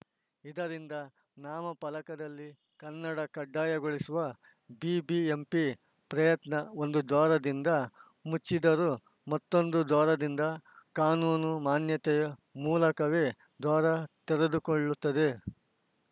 ಇದರಿಂದ ನಾಮಫಲಕದಲ್ಲಿ ಕನ್ನಡ ಕಡ್ಡಾಯಗೊಳಿಸುವ ಬಿಬಿಎಂಪಿ ಪ್ರಯತ್ನ ಒಂದು ದ್ವಾರದಿಂದ ಮುಚ್ಚಿದರೂ ಮತ್ತೊಂದು ದ್ವಾರದಿಂದ ಕಾನೂನು ಮಾನ್ಯತೆಯ ಮೂಲಕವೇ ದ್ವಾರ ತೆರೆದುಕೊಳ್ಳುತ್ತದೆ